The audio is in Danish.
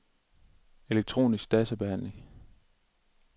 elektronisk databehandling